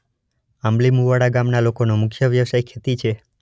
આંબલી મુવાડા ગામના લોકોનો મુખ્ય વ્યવસાય ખેતી છે.